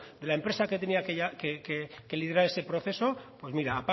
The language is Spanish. de la empresa que tenía que liderar ese proceso pues mira